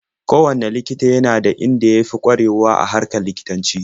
Kowanne likita yana da inda ya fi ƙwarewa a harkar likitanci.